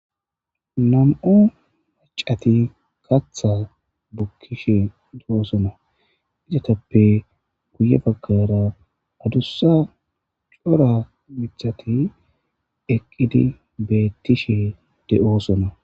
nam'o macati katha bukkishe de'osona izatappe guye bakara adussa cora mithati eqqidi beettishe de7oosona